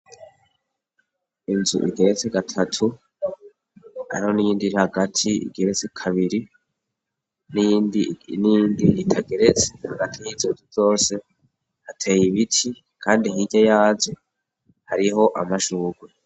Inzu igeretse gatatu aro n'indi hagati igeretse kabiri n'indi ritageretse hagati y'izozu zose hateye ibiti, kandi nkirya yaje hariho amashurwe.